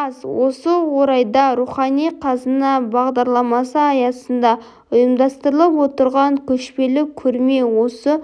аз осы орайда рухани қазына бағдарламасы аясында ұйымдастырылып отырған көшпелі көрме осы